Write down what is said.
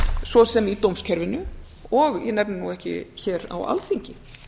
svo sem í dómskerfinu og ég nefni nú ekki hér á alþingi